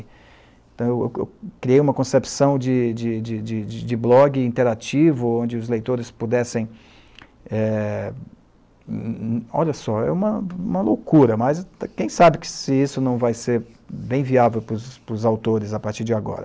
Então, eu eu criei uma concepção de de de de blog interativo, onde os leitores pudessem é... Olha só, é uma é uma, loucura, mas quem sabe que isso não vai ser bem viável para os autores a partir de agora.